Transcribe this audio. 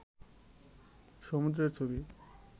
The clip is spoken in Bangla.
সমুদ্রের ছবি